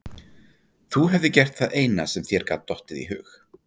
Þú hefðir gert það eina sem þér gat dottið í hug.